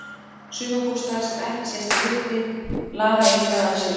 Sumarbústaður sem ekki sést í myrkri laðar engan að sér.